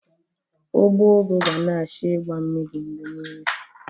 Ugbo ugu ga na-achọ igba mmiri mgbe niile